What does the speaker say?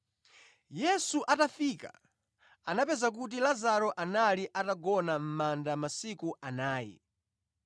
Yesu atafika, anapeza kuti Lazaro anali atagona mʼmanda masiku anayi.